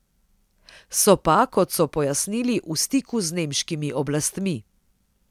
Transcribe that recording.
So pa, kot so pojasnili, v stiku z nemškimi oblastmi.